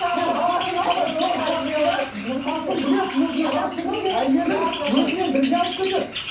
қасым біледі өзінің ғашығын әйелін өзімен бірге алып кетеді